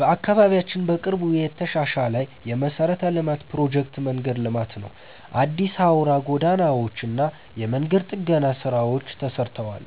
በአካባቢያችን በቅርቡ የተሻሻለ የመሠረተ ልማት ፕሮጀክት መንገድ ልማት ነው። አዲስ አውራ ጎዳናዎች እና የመንገድ ጥገና ስራዎች ተሰርተዋል።